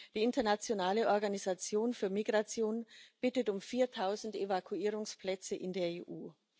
Die Internationale Organisation für Migration bittet um viertausend Evakuierungsplätze in der EU.